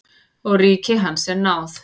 Og ríki hans er náð.